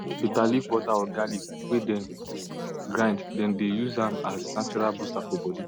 bitter leaf water or garlic way dem grind dem dey use am as nature booster for body